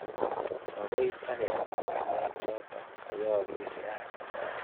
Makoi takemwa ng'alek choto kayaakis rani karon.